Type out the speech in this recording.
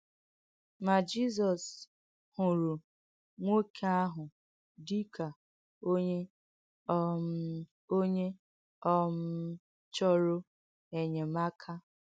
Mà Jìzọ̀s hụ̀rù́ nwọ́kè áhụ̀ dì kà onyè um onyè um chọ̀rò ènyèm̀ákà.